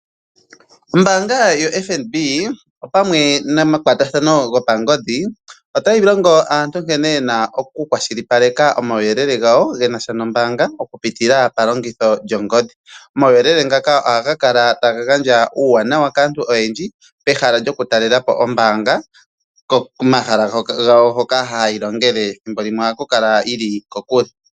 Ombaanga yoFNB opamwe nomakwatathano gopangodhi otayi longo aantu nkene yena oku kwashilipaleke omauyelele gawo genasha noombaanga okupitila palongitho lyongodhi. Omauyelele ngaka ohaga kala taga gandja uuwanawa kaantu oyendji pehala lyokutalela po oombaanga komahala gawo hoka haya longele thimbo limwe ohayi kala yili kokule.